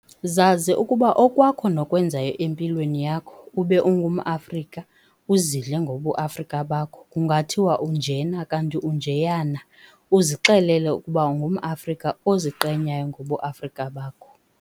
Zazi ukuba okwakho nokwenzayo empilweni yakho ube ungumAfrika uzidle ngobu Afrika bakho kungathiwa unjena kanti unjeyana uzixelele ukuba ungumAfrika oziqenyayo ngobuAfrika bakho.